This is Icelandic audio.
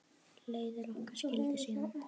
Leiðir okkar skildi síðan.